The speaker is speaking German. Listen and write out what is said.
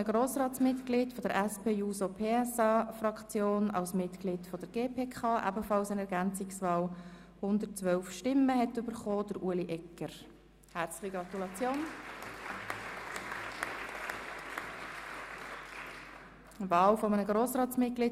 Bei 117 ausgeteilten und 117 eingegangenen Wahlzetteln, wovon leer 5 und ungültig 0, in Betracht fallend 112, wird bei einem absoluten Mehr von 57 gewählt: